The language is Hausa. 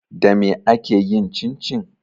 Dame ake yin cincin?